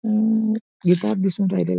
अं इथं दिसून राहिलय.